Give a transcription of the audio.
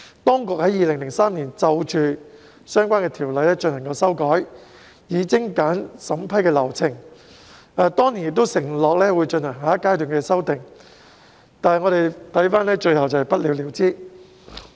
當局在2003年修訂相關的條例，以精簡審批流程，並承諾會進行下一階段的修訂，但最後卻不了了之。